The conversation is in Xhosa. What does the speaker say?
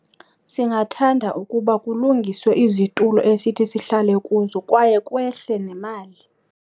Singathanda ukuba kulungiswe izitulo esithi sihlale kuzo kwaye kwehle nemali.